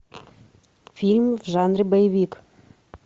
фильм в жанре боевик